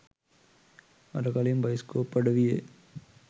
අර කලින් බයිස්කෝප් අඩවියේ